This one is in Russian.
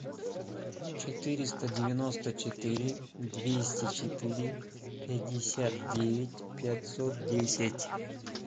четыреста девяносто четыре двести четыре пятьдесят девять пятьсот десять